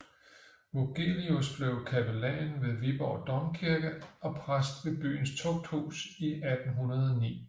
Vogelius blev kapellan ved Viborg Domkirke og præst ved byens tugthus i 1809